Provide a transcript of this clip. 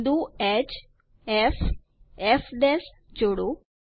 બિંદુ hfફ જોડો